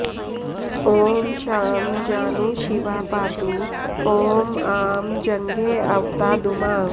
ॐ शां जानू शिवा पातु ॐ आं जङ्घेऽवतादुमा